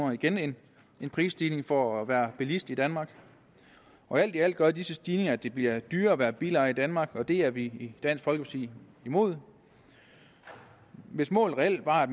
er igen en prisstigning for at være bilist i danmark alt i alt gør disse stigninger at det bliver dyrere at være bilejer i danmark og det er vi i dansk folkeparti imod hvis målet reelt var at